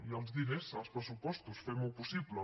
hi ha els diners als pressupostos fem ho possible